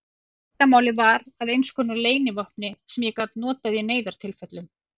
Leyndarmálið varð að einskonar leynivopni sem ég gat notað í neyðartilfellum.